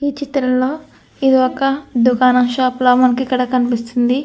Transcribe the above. ఈ చిత్రంలో ఇది ఒక దుకాణం షాపు లా మనకిక్కడ కనిపిస్తుంది.